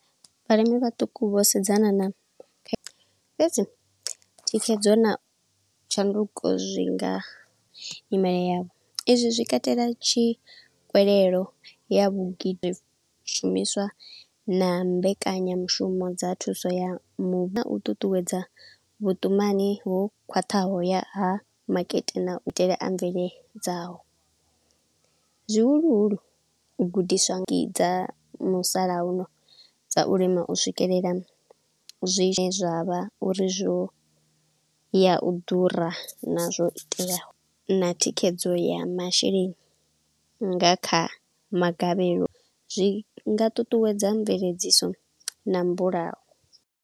Vhalimi vhaṱuku vho sedzana na fhedzi, thikhedzo na tshanduko zwinga imeya. Ezwi zwi katela tshi khuwelelo ya vhu gidi shumiswa na mbekanyamushumo dza thuso ya . Na u ṱuṱuwedza vhuṱumani vho khwaṱhaho ya ha makete na itele a mvelele dzaho. Zwihuluhulu u gudiswa thangi dza musalauno dza u lima u swikelela zwine zwavha uri zwo ya u ḓura, nazwo iteaho, na thikhedzo ya masheleni nga kha magavhelo, zwi nga ṱuṱuwedza mveledziso na mbulayo.